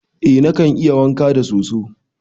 Eh nikan yi wanka da soso.